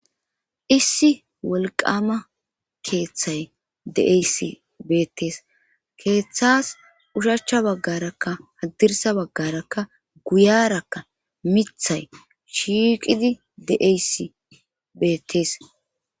issi wolqama keeththay de7eysi beettees keeththas ushachcha baggarakka haddirsa baggarakka guyarakka mithay shiiqidi de7eyssi beettees